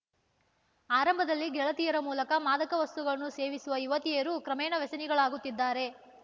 ಆರಂಭದಲ್ಲಿ ಗೆಳತಿಯರ ಮೂಲಕ ಮಾದಕ ವಸ್ತುಗಳನ್ನು ಸೇವಿಸುವ ಯುವತಿಯರು ಕ್ರಮೇಣ ವ್ಯಸನಿಗಳಾಗುತ್ತಿದ್ದಾರೆ